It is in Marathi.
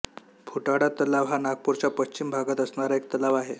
फुटाळा तलाव हा नागपूरच्या पश्चिम भागात असणारा एक तलाव आहे